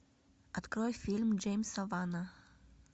открой фильм джеймса вана